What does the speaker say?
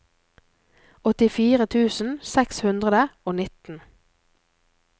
åttifire tusen seks hundre og nitten